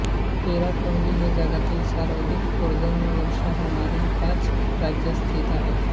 चेरापुंजी हे जगातील सर्वाधिक पर्जन्यवर्षा होणारे शहर ह्याच राज्यात स्थित आहे